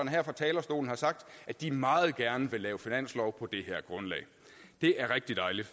her fra talerstolen har sagt at de meget gerne vil lave finanslov på det her grundlag det er rigtig dejligt